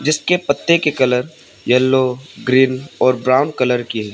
इसके पत्ते के कलर येलो ग्रीन और ब्राउन कलर की है।